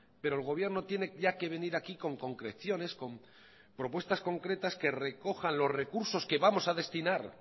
pero el gobierno tiene ya que venir aquí con concreciones con propuestas concretas que recojan los recursos que vamos a destinar